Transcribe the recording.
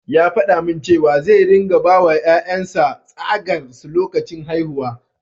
Ya faɗa min cewa zai ringa bawa ƴaƴan sa tsagar su lokacin haihuwa.